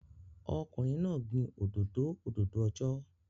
Ọkùnrin náà gbin òdòdó òdòdó ọjọ́